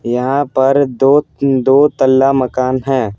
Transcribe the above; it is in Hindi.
यहाँ पर दो दो तला मकान है।